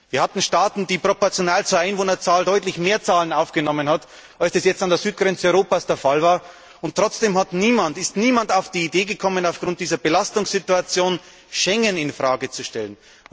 Wir hatten Staaten, die proportional zur Einwohnerzahl deutlich größere Zahlen aufgenommen haben, als das jetzt an der Südgrenze Europas der Fall war, und trotzdem ist niemand auf die Idee gekommen, aufgrund dieser Belastungssituation Schengen in Frage zu stellen.